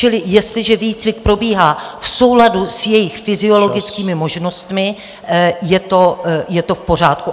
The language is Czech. Čili jestliže výcvik probíhá v souladu s jejich fyziologickými možnostmi -- je to v pořádku.